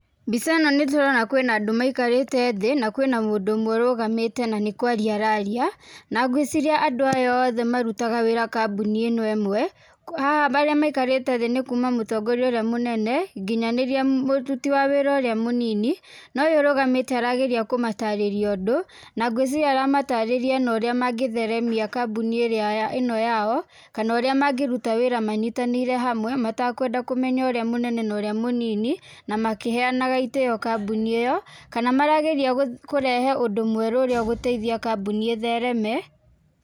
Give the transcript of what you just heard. Mbica ĩno nĩ tũrona kwĩna andũ maikarĩte thĩ, na kwĩna mũndũ ũmwe ũrũgamĩte na nĩ kwarĩa araria. Na ngwĩciria andũ aya othe marutaga wĩra kambuni ĩno ĩmwe, haha arĩa maikarĩte thĩ nĩ kuuma mũtongoria ũrĩa mũnene nginyanĩria mũruti wa wĩra ũrĩa mũnini, na ũyũ ũrũgamĩte arageria kũmatarĩria ũndũ, na ngwĩciria aramatarĩria na ũrĩa mangĩtheremia kambuni ĩrĩa ĩno yao kana ũrĩa mangĩruta wĩra manyitanĩire hamwe matakwenda kũmenya ũrĩa mũnene na ũrĩa mũnini, na makĩheanaga itĩĩo kambuni ĩyo. Kana marageria kũrehe ũndũ mwerũ ũrĩa ũgũteithia kambuni ĩthereme.